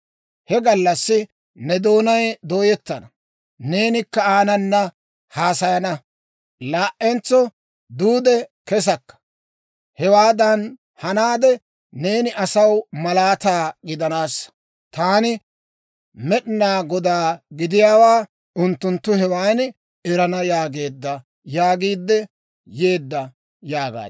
He gallassi ne doonay dooyettana; neenikka aanana haasayana; laa"entso duude kesakka. Hewaadan hanaade, neeni asaw malaataa gidanaassa. Taani Med'inaa Godaa gidiyaawaa unttunttu hewan erana yaageedda yaagiidde yeedda» yaagaad.